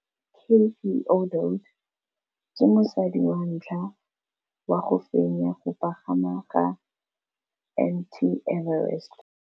Cathy Odowd ke mosadi wa ntlha wa go fenya go pagama ga Mt Everest.